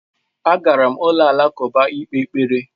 Agara m ụlọ alakụba ịkpe ekpere